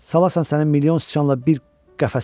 Salarsan sənin milyon siçanla bir qəfəsə.